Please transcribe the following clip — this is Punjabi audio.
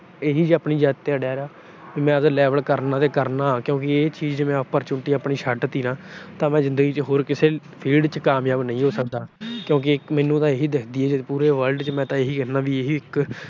ਇਹੀ ਆਪਣੀ ਜਿੱਦ ਤੇ ਅੜਿਆ ਰਿਹਾ ਵੀ ਮੈਂ ਅਗਰ level ਕਰਨਾ ਤਾਂ ਕਰਨਾ ਕਿਉਂਕਿ ਇਹ ਚੀਜ ਮੈਂ opportunity ਆਪਣ ਛੱਡਤੀ ਨਾ ਤਾਂ ਮੈਂ ਜਿੰਦਗੀ ਚ ਹੋਰ ਕਿਸੇ field ਚ ਕਾਮਯਾਬ ਨਹੀਂ ਹੋ ਸਕਦਾ। ਕਿਉਂਕਿ ਮੈਨੂੰ ਤਾਂ ਇਕ ਇਹੀ ਦਿਖਦੀ ਆ ਪੂਰੇ world ਚ। ਮੈਂ ਤਾਂ ਇਹੀ ਕਹਿੰਨਾ ਵੀ